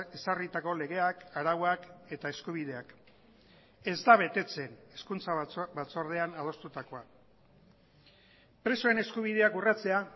ezarritako legeak arauak eta eskubideak ez da betetzen hezkuntza batzordean adostutakoan presoen eskubideak urratzea